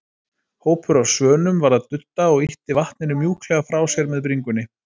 Hópur af svönum var að dudda og ýtti vatninu mjúklega frá sér með bringunni.